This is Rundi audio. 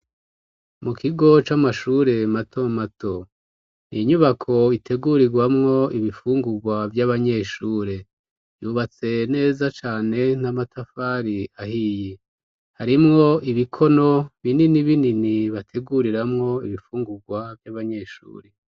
Mu kigo c'amashure mato mato ni inyubako itegurigwamwo ibifungugwa vy'abanyeshuri yubatse neza cane n'amatafari ahiye harimwo ibikono binini binini bateguriramwo ibifunguwa vy'abanyeshuri.